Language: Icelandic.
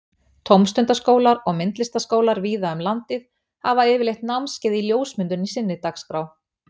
Tómstundaskólar og myndlistaskólar víða um landið hafa yfirleitt námskeið í ljósmyndun í sinni dagskrá.